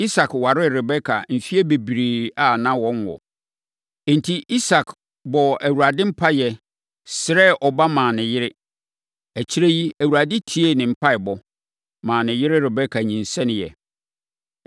Isak waree Rebeka mfeɛ bebree a na wɔnwo. Enti, Isak bɔɔ Awurade mpaeɛ, srɛɛ ɔba maa ne yere. Akyire yi, Awurade tiee ne mpaeɛbɔ, maa ne yere Rebeka nyinsɛneeɛ.